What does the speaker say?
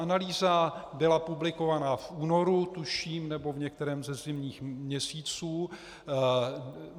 Analýza byla publikována v únoru tuším, nebo v některém ze zimních měsíců.